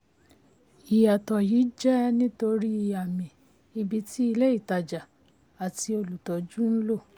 ìyàtọ̀ yìí jẹ́ nítorí àmì ibi tí ilé-ìtajà àti olùtọ́jú ń um lo.